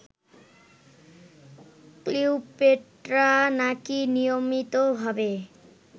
Cleopatra নাকি নিয়মিতভাবে